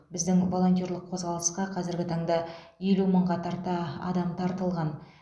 біздің волонтерлік қозғалысқа қазіргі таңда елу мыңға тарта адам тартылған